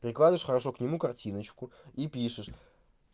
прикладываешь хорошо к нему картиночку и пишешь